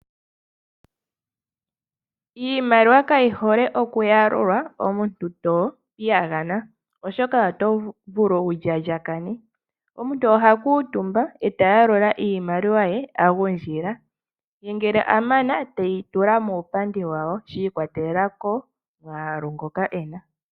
Iimaliwa kayi hole okuyalulwa omuntu topiyagana, oshoka oto vulu wundjandjakane. Omuntu oha kuuntumba, e tayalula iimaliwa ye agundjila, ye ngele amana, teyi tula muupandi wawo shi ikwatelela komwaalu ngoka ena.